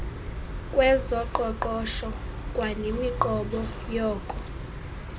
kwezoqoqosho kwanemiqobo yoko